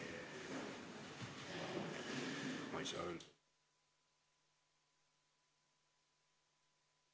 Istungi lõpp kell 15.48.